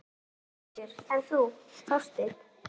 Höskuldur: En þú, Þorsteinn?